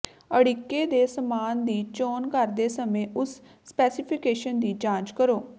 ਅੜਿੱਕੇ ਦੇ ਸਾਮਾਨ ਦੀ ਚੋਣ ਕਰਦੇ ਸਮੇਂ ਉਸ ਸਪੈਸੀਫਿਕੇਸ਼ਨ ਦੀ ਜਾਂਚ ਕਰੋ